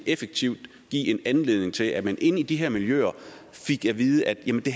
effektivt give anledning til at man inde i de her miljøer fik at vide at jamen det